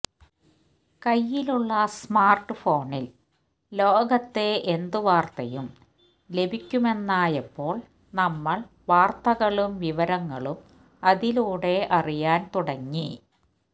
കൈയ്യിലുള്ള smart ഫോണില് ലോകത്തെ എന്ത് വാര്ത്തയും ലഭിക്കുമെന്നായപ്പോള് നമ്മള് വാര്ത്തകളും വിവരങ്ങളും അതിലൂടെ അറിയാന് തുടങ്ങി